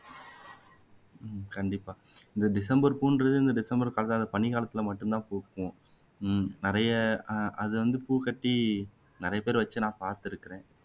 கண்டிப்பா இந்த டிசம்பர் பூன்றது இந்த டிசம்பர் பக பனிக்காலத்துல மட்டும் தான் பூக்கும் நிறைய ஆஹ் அது வந்து பூ கட்டி நிறைய பேர் வச்சு நான் பாத்துருக்குறேன்